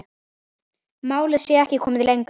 Málið sé ekki komið lengra.